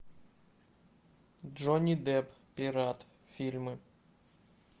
джонни депп пират фильмы